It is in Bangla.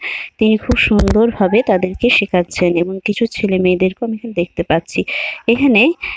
তিনি খুব সুন্দর ভাবে তাদেরকে শেখাচ্ছেন এবং কিছু ছেলে মেয়েদেরকে আমি এখানে দেখতে পাচ্ছি। এখানে --